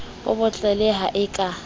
bo bottle ha a ka